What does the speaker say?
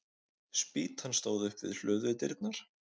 Spýtan stóð upp við hlöðudyrnar.